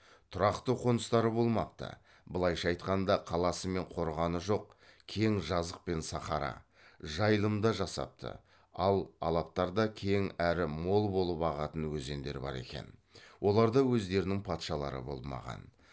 тұрақты қоныстары болмапты былайша айтқанда қаласы мен қорғаны жоқ кең жазық пен сахара жайылымда жасапты ал алаптарда кең әрі мол болып ағатын өзендер бар екен оларда өздерінің патшалары болмаған